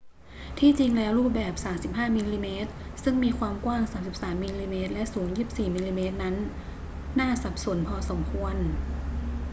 ที่จริงแล้วรูปแบบ 35 มม ซึ่งมีความกว้าง 33 มม และสูง 24 มม นั้นน่าสับสนพอสมควร